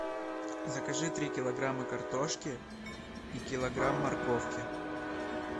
закажи три килограмма картошки и килограмм морковки